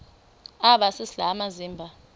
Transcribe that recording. aba sisidl amazimba